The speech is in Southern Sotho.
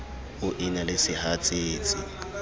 o e na le sehatsetsi